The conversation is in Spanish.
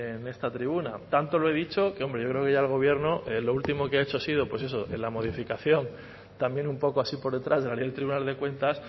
en esta tribuna tanto lo he dicho que hombre yo creo que ya el gobierno lo último que ha hecho ha sido la modificación también un poco así por detrás de la ley del tribunal de cuentas